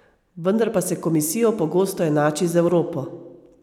Vendar pa se komisijo pogosto enači z Evropo.